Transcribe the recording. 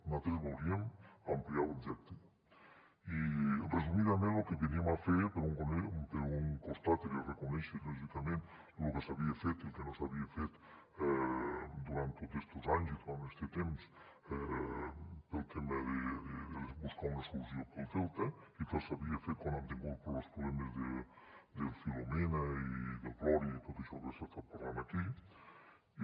nosaltres volíem ampliar l’objecte i resumidament lo que veníem a fer per un costat era reconèixer lògicament lo que s’havia fet i el que no s’havia fet durant tots estos anys i durant este temps pel tema de buscar una solució per al delta i que s’havia fet quan han tingut problemes del filomena i del gloria i tot això que s’ha estat parlant aquí i